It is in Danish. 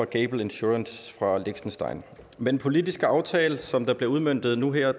gable insurance fra liechtenstein med den politiske aftale som bliver udmøntet nu her